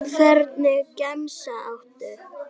Hvernig gemsa áttu?